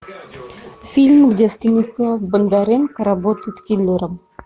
фильм где станислав бондаренко работает киллером